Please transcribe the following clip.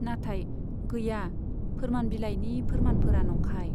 नाथाय, गैया, फोरमान बिलाइनि फोरमानफोरा नंखाय।